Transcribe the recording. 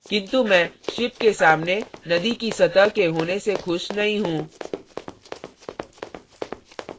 किन्तु मैं ship के सामने नदी की सतह के होने से खुश नहीं हूँ